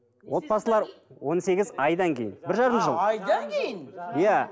отбасылар он сегіз айдан кейін бір жарым жыл айдан кейін иә